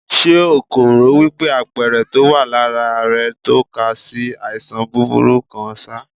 Ṣé o kò rò wípé àpẹẹrẹ tó wà lára rẹ̀ ń tó ka sí àìsàn burúkú kan ṣá?